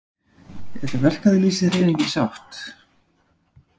Er verkalýðshreyfingin sátt?